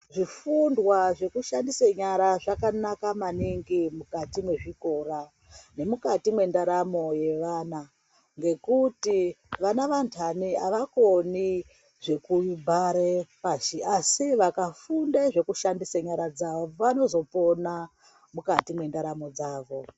Zvifundwa zvekushandisa nyara zvakanaka maningi mukati mezvikora nemukati mendaramo yevana nekuti vana ndani avakoni zvekuvhara asi vakafunda zvekushandisa nyara dzawo vanozopona mukati mendaramo yawo.